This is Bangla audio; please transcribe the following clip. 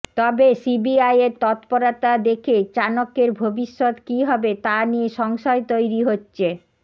তবে সিবিআইয়ের তৎপরতা দেখে চাণক্যের ভবিষ্যত কী হবে তা নিয়ে সংশয় তৈরি হচ্ছে